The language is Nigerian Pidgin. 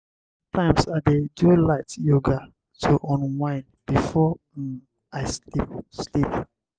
sometimes i dey do light yoga to unwind before um i sleep. sleep.